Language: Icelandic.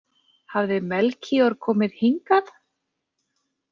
Hafði Melkíor komið hingað?